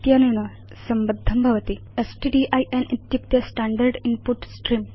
इत्यनेन संबद्धं भवति स्ट्डिन् इत्युक्ते स्टैण्डर्ड् इन्पुट स्त्रेऽं